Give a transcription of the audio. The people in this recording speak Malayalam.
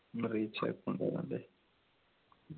account ആണല്ലേ